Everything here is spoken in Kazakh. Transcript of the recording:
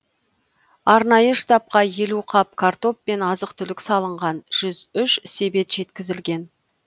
арнайы штабқа елу қап картоп пен азық түлік салынған жүз үш себет жеткізілген